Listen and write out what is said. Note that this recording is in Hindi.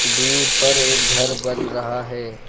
दूर पर एक घर बन रहा है।